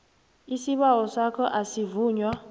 isibawo sakho asivunywa